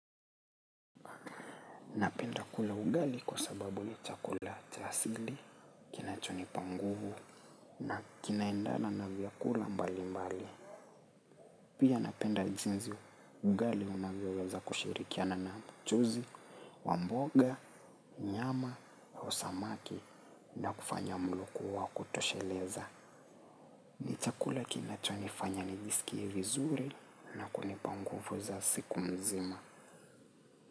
Napenda kula ugali kwa sababu ni chakula cha asili, kinachoni panguvu na kinaendana na vyakula mbali mbali. Pia napenda jinzi ugali unavyoweza kushirikiana na mchuzi, wa mboga, nyama, samaki na kufanya mlo kuwa wa kutosheleza. Ni chakula kinachonifanya nijisikie vizuri na kunipa nguvu za siku mzima.